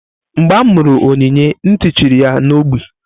Mgbe amuru Onyinye nti chiri ya na ogbi.